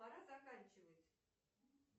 пора заканчивать